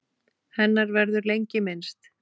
Hennar verður lengi minnst.